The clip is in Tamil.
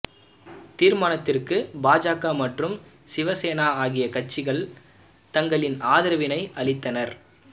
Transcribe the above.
தீர்மானத்திற்கு பாஜக மற்றும் சிவ சேனா ஆகிய கட்சிகள் தங்களின் ஆதரவினை அளித்தனர்